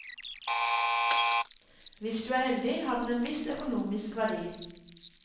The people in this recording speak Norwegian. Hvis du er heldig, har den en viss økonomisk verdi.